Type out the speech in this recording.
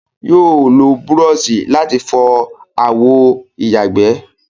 Yóò lo búrọọṣì láti fọọ àwọ ìyàgbẹ́